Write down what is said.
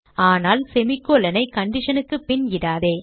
ஆனால் semi colon ஐ condition க்கு பின் இடாதே